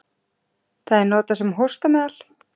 Það er notað sem hóstameðal.